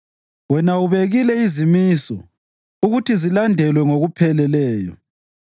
Wena ubekile izimiso ukuthi zilandelwe ngokupheleleyo.